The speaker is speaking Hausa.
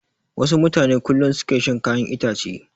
Wasu mutane kullum su ke shan kayan itace.